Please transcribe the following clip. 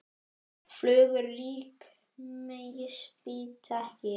Flugur rykmýs bíta ekki.